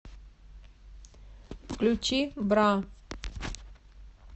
включи бра